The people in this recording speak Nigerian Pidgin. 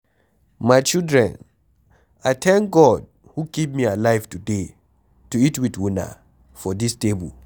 My children I thank God who keep me alive today to eat with una for dis table.